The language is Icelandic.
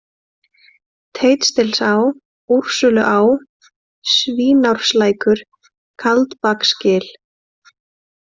Teistilsá, Úrsúluá, Svínárneslækur, Kaldbaksgil